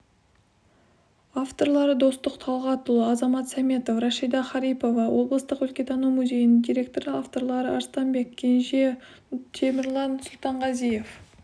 авторлары достық талғатұлы азамат сәметов рашида харипова облыстық өлкетану музейінің директоры авторлары арыстанбек кенже темірлан сұлтанғазиев